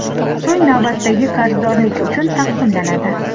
so‘ng navbatdagi qarzdorliklar uchun taqsimlanadi.